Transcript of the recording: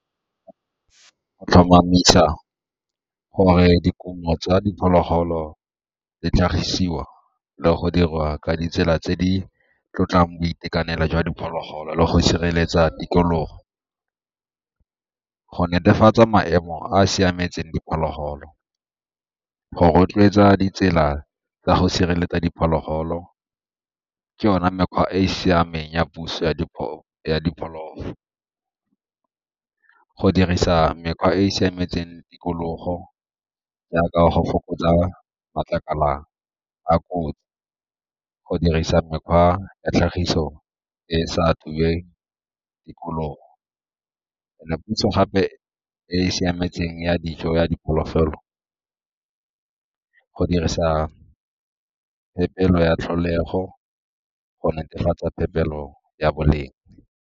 Go tlhomamisa gore dikumo tsa diphologolo di tlhagisiwa le go dirwa ka ditsela tse di tlotlang boitekanelo jwa diphologolo le go sireletsa tikologo, go netefatsa maemo a a siametseng diphologolo, go rotloetsa ditsela tsa go sireletsa diphologolo ke yone mekgwa e e siameng ya puso ya , go dirisa mekgwa e e siametseng tikologo jaaka go fokotsa matlakala a kotsi, go dirisa mekgwa ya tlhagiso e e sa tikologo. And-e gape e siametseng ya dijo ya go dirisa ya tlholego go netefatsa ya boleng.